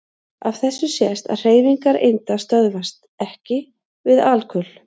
Af þessu sést að hreyfingar einda stöðvast EKKI við alkul.